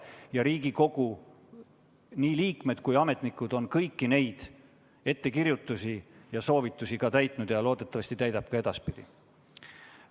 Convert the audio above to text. Nii Riigikogu liikmed kui ka kantselei ametnikud on kõiki neid ettekirjutusi ja soovitusi täitnud ning loodetavasti täidavad ka edaspidi.